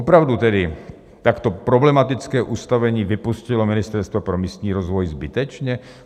Opravdu tedy takto problematické ustanovení vypustilo Ministerstvo pro místní rozvoj zbytečně?